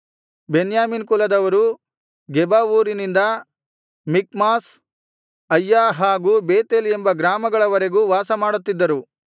ಬೆನ್ಯಾಮೀನ್ ಕುಲದವರು ಗೆಬ ಊರಿನಿಂದ Michmash Aija ಹಾಗು ಬೇತೇಲ್ ಎಂಬ ಗ್ರಾಮಗಳವರೆಗೂ ವಾಸಮಾಡುತ್ತಿದ್ದರು